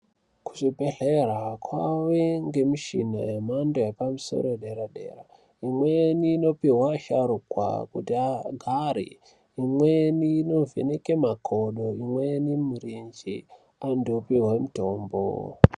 Kuzvibhedhlera kwane mishini yemhando yepamusoro yedera -dera imweni inopihwa asharukwa kuti agare imweni inovheneka makodo imweni mirenje antu opihwa mitombo.